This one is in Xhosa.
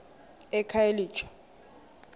ekhayelitsha